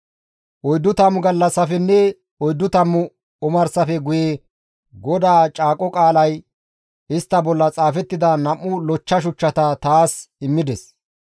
Oyddu tammu gallassafenne oyddu tammu omarsafe guye GODAA caaqo qaalay istta bolla xaafettida nam7u lochcha shuchchata taas immides.